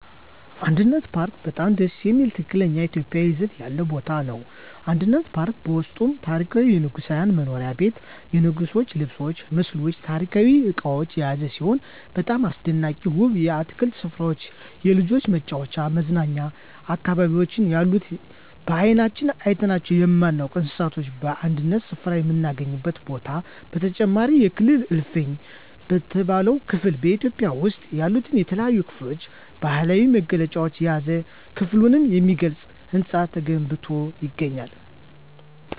አንድነት ፓርክ በጣም ደስ የሚል ትክክለኛ ኢትዮጵያዊ ይዘት ያለው ቦታ ነው። አንድነት ፓርክ በውስጡም ታሪካዊ የንጉሣዊ መኖሪያ ቤት የንጉሥች ልብስ ምስሎች ታሪካዊ እቃዎች የያዘ ሲሆን በጣም አስደናቂና ውብ የአትክልት ስፍራዎች የልጆች መጫወቻና መዝናኛ አካባቢዎች ያሉት በአይናችን አይተናቸው የማናውቃቸውን እንስሳቶች በአንድ ስፍራ የምናገኝበት ቦታ በተጨማሪም የክልል እልፍኝ በተባለው ክፍል በኢትዮጵያ ውስጥ ያሉትን የተለያዩ ክልሎች ባህላዊ መገለጫዎችን የያዘ ክልሉን የሚገልጽ ህንፃ ተገንብቶ ይገኛል።